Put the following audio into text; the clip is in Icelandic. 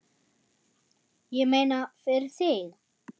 Ég meina, fyrir þig.